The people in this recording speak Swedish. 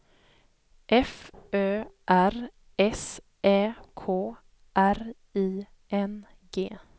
F Ö R S Ä K R I N G